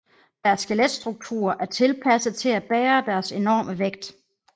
Deres skeletstrukturer er tilpasset til at bære deres enorme vægt